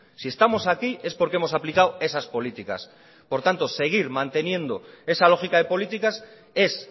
si estamos aquí es porque hemos aplicado esas políticas por tanto seguir manteniendo esa lógica de políticas es